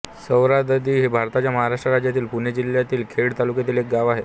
सावरदरी हे भारताच्या महाराष्ट्र राज्यातील पुणे जिल्ह्यातील खेड तालुक्यातील एक गाव आहे